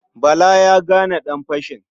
Bala ya gane ɗanfashin.